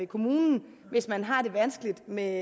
kommunen hvis man har det vanskeligt med